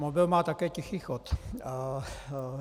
Mobil má také tichý chod.